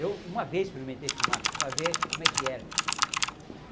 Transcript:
Eu, uma vez, experimentei fumar para ver como é que era. fuh fuh